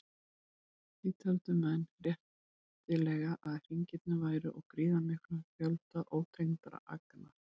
Því töldu menn réttilega að hringirnir væru úr gríðarmiklum fjölda ótengdra agna.